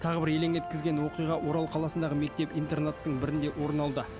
тағы бір елең еткізген оқиға орал қаласындағы мектеп интернаттың бірінде орын алды